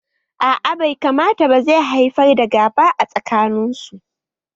A'a bai kamata ba zai haifar da gaba a tsakaninsu